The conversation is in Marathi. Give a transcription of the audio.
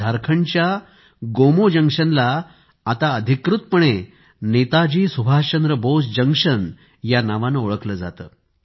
झारखंडच्या गोमो जंक्शनला आता अधिकृतपणे नेताजी सुभाषचंद्र बोस जंक्शन या नावाने ओळखले जाते